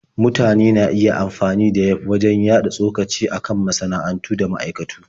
Mutane na iya amfani da Yelf wajen yaɗa tsokaci a kan masana'antu da ma'aikatu.